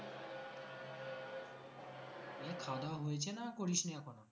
খাওয়াদাওয়া হয়েছে না করিসনি এখনো